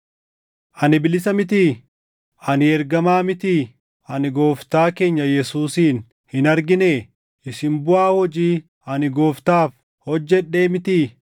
Ani bilisa mitii? Ani ergamaa mitii? Ani Gooftaa keenya Yesuusin hin arginee? Isin buʼaa hojii ani Gooftaaf hojjedhee mitii?